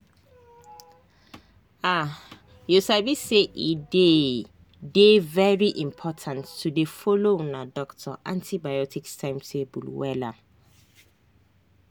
ahyou sabi say e dey dey very important to dey follow una doctor antibiotics timetable wella.